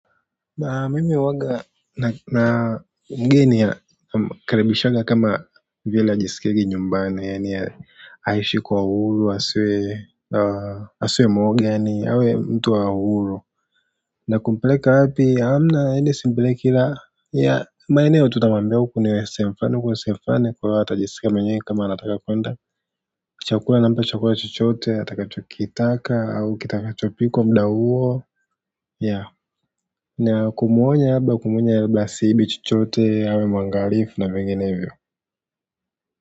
Na mimi huwanga na mgeni ya namkaribishaga kama vile ajisikiege nyumbani yaani ya aishi kwa uhuru asiwe mwoga yaani awe mtu wa uhuru na kumpeleka wapi hamna aende simpeleki kila ya maeneo tutamwambia uku ni sehemu fulani huku ni sehemu fulani kwa hivyo atajisikia mwenyewe kama anataka kwenda chakula nampa chakula chochote atakachokitaka au kitakachopikwa muda huo ya na kumuonya labda kumuonya labda asiibe chochote awe mwangalifu na menginevyo.